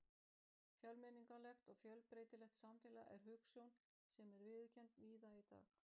Fjölmenningarlegt og fjölbreytilegt samfélag er hugsjón sem er viðurkennd víða í dag.